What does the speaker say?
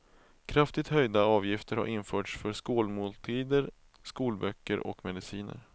Kraftigt höjda avgifter har införts för skolmåltider, skolböcker och mediciner.